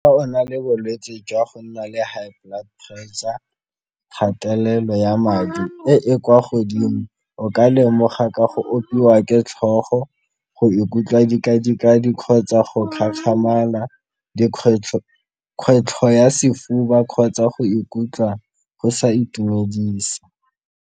Fa o na le bolwetse jwa go nna le high blood pressure, kgatelelo ya madi e e kwa godimo o ka lemoga ka go opiwa ke tlhogo, go ikutlwa kgotsa go dikgwetlho, kgwetlho ya sefuba kgotsa go ikutlwa go sa itumedise.